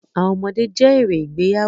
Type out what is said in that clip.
Àwọn ọmọdé jẹ́ èrè ìgbéyàwó.